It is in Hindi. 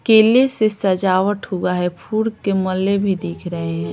केले से सजावट हुआ है फूड के मल्ले भी देख रहे हैं।